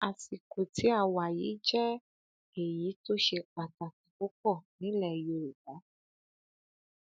àsìkò tí a wà yìí jẹ èyí tó ṣe pàtàkì púpọ nílẹ yorùbá